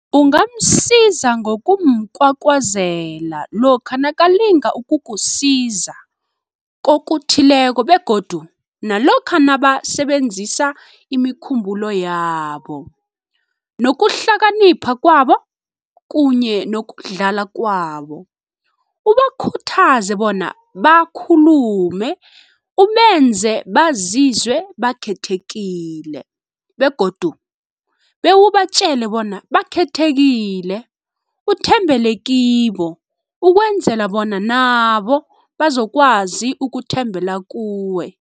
Ungamsiza ngokumkwakwazela lokha nakalinga ukukusiza kokuthileko begodu nalokha nabasebenzisa imikhumbulo yabo, nokuhlakanipha kwabo kunye nokudlala kwabo, ubakhuthaze bona bakhulume, ubenze bazizwe bakhethekile, begodu bewubatjele bona bakhethekile, uthembele kibo, ukwenzela bona nabo bazokwazi ukuthembela kuwe.